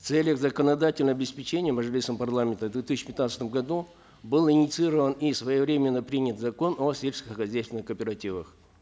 в целях законодательного обеспечения мажилисом парламента в две тысячи пятнадцатом году был инициирован и своевременно принят закон о сельскохозяйственных кооперативах